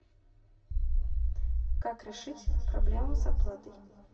как решить проблему с оплатой